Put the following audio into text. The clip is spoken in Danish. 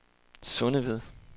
Sundeved